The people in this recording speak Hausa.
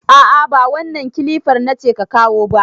A'a ba wannan kilifar nace ka kawo ba.